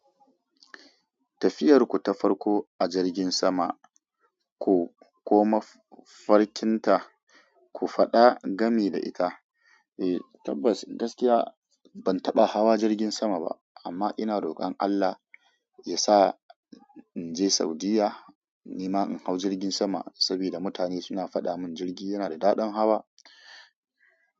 Tafiyar ku ta farko a jirgin sama, ko, ko mafarkinta ku faɗa gami da ita. Eh tabbas gaskiya ban taɓa hawa jirgin sama ba amma ina rokon Allah yasa inje Saudiyya nima in hau jirgin sama saboda mutane suna faɗa mun jirgi yana da daɗin hawa.